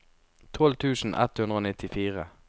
tolv tusen ett hundre og nittifire